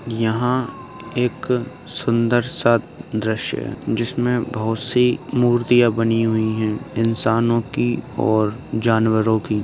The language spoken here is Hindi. यहाँं एक सुंदर सा दृशय है जिसमें बहोत सी मूर्तियां बनी हुई हैं इंसानों की और जानवरों की।